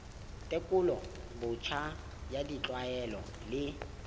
tekolo botjha ya ditlwaelo le